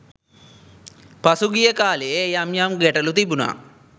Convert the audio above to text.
පසුගිය කාලයේ යම් යම් ගැටළු තිබුණා.